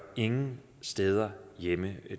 ingen steder hjemme